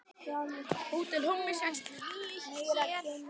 Hvernig berðu hann á þig?